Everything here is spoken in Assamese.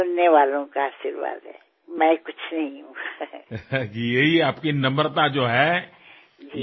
এয়া আমাৰ বাবে প্ৰেৰণাৰ উৎস যে আপুনি জীৱনত ইমানবোৰ সিদ্ধি লাভ কৰাৰ পিছতো নিজৰ পিতৃমাতৃৰ সংস্কাৰ আৰু নম্ৰতাক অগ্ৰাধিকাৰ দিছে